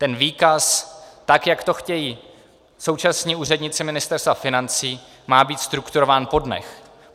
Ten výkaz, tak jak to chtějí současní úředníci Ministerstva financí, má být strukturován po dnech.